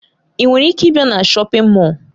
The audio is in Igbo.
Ị nwere ike ịbịa na shọpin Mọll?